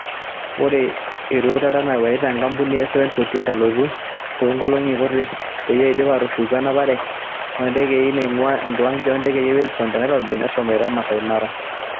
Ore erotuata nawaita enkampuni e 748 elotu toonkolongi kuti peyie eidip aatushuku enapare oontekei naingua enkiwanja oontekei e Wilson te Nairobi meshomoita maasai mara.